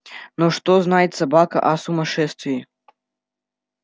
но что знает собака о сумасшествии